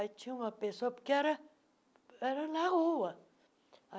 Aí tinha uma pessoa, porque era era na rua.